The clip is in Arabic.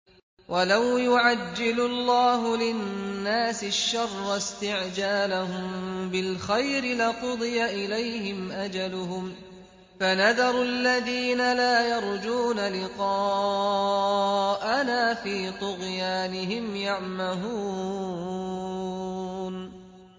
۞ وَلَوْ يُعَجِّلُ اللَّهُ لِلنَّاسِ الشَّرَّ اسْتِعْجَالَهُم بِالْخَيْرِ لَقُضِيَ إِلَيْهِمْ أَجَلُهُمْ ۖ فَنَذَرُ الَّذِينَ لَا يَرْجُونَ لِقَاءَنَا فِي طُغْيَانِهِمْ يَعْمَهُونَ